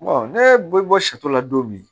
ne bɛ bɔ sato la don min